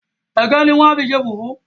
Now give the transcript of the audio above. Ẹ̀gẹ́ ni wọ́n á fi ṣe fùfú